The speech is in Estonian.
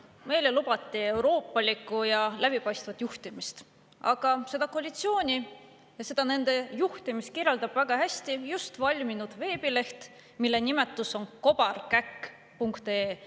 Meile lubati euroopalikku ja läbipaistvat juhtimist, aga seda koalitsiooni ja nende juhtimist kirjeldab väga hästi just valminud veebileht, mille nimetus on kobarkäkk.ee.